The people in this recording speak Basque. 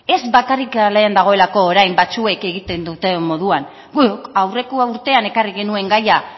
ez bakarrik kalean dagoelako orain batzuek egiten duten moduan guk aurreko urtean ekarri genuen gaia